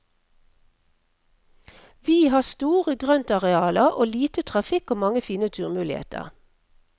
Vi har store grøntarealer og lite trafikk og mange fine turmuligheter.